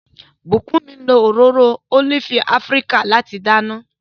Bukunmi lo òróró ólífì Afíríkà láti dáná.